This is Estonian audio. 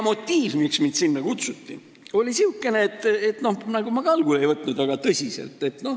Motiiv, miks mind sinna kutsuti, oli sihukene, et noh, ma ka algul nagu ei võtnud seda väga tõsiselt.